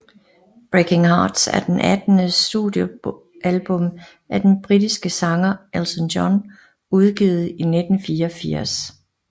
Breaking Hearts er det attende studiealbum af den britiske sanger Elton John udgivet i 1984